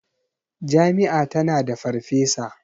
Jami'a tana da farfesa.